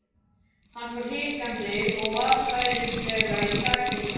Hann fór hikandi og varfærnislega í sakirnar.